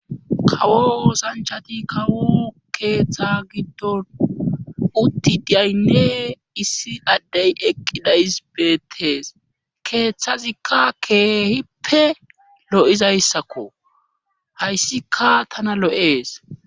kawo osanchati kawu keeththa giddon utti diyaynne issi addey eqqida isbeettees keeththazikka keehippe lo7izayssakko hayssika tana lo7ees